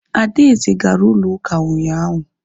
Adaeze gara ụlọ ụka ụnyaahụ